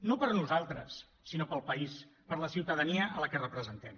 no per nosaltres sinó pel país per la ciutadania a la que representem